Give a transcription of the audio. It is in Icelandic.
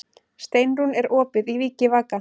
Steinrún, er opið í Vikivaka?